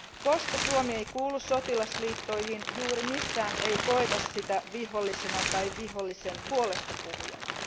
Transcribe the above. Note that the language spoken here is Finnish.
Koska Suomi ei kuulu sotilasliittoihin, juuri missään ei koeta sitä viholliseksi tai vihollisen puolestapuhujaksi.